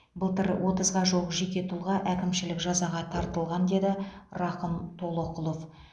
былтыр отызға жуық жеке тұлға әкімшілік жазаға тартылған деді рақым толоқұлов